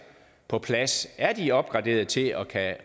på plads er de opgraderet til at